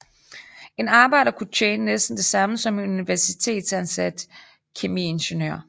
En arbejder kunne tjene næsten det samme som en universitetsansat kemiingeniør